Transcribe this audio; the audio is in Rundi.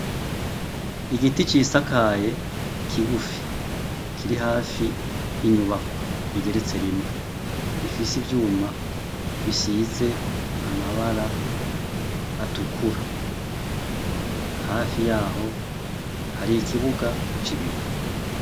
Igiti cisakaye kigufi kiri hafi y' inyubakwa igeretse rimwe. Ifise ivyuma bisize amabara atukura. Hafi yaho hari ikibuga c' ibivu.